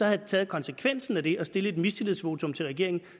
havde taget konsekvensen af det og stillet et mistillidsvotum til regeringen